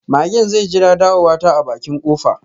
Magen zai jira ɗawowata a bakin kofa.